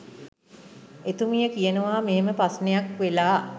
එතුමිය කියනවා මෙහෙම ප්‍රශ්නයක් වෙලා